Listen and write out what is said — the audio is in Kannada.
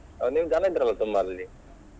ನೀವು ಜನ ಇದ್ರಲ್ಲ ತುಂಬ ಅಲ್ಲಿ.